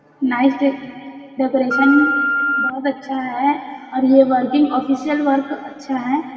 Nice decoration बहुत अच्छा हैं और ये वर्किंग ऑफिसियल वर्क अच्छा हैं।